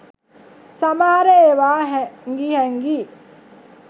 සමහර ඒවා හැංගි හැංගි